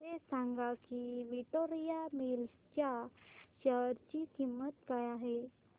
हे सांगा की विक्टोरिया मिल्स च्या शेअर ची किंमत काय आहे